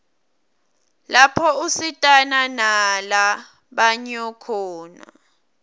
lapho usitana nala banyo khona